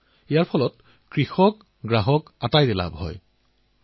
আপুনি চিন্তা কৰক কিমানজন তৰুণক তেওঁলোকে চাকৰি দিছিল আৰু মাজত কোনো মধ্যভোগী নাছিল